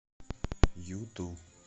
юту